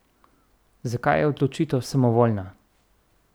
Zakaj je odločitev samovoljna?